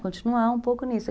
Continuar um pouco nisso.